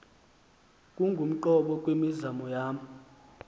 ubungumqobo kwimizamo yam